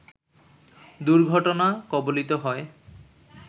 দুর্ঘটনা কবলিত হয়